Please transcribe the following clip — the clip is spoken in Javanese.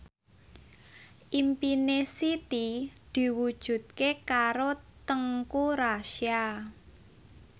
impine Siti diwujudke karo Teuku Rassya